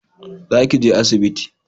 Za ki je asibiti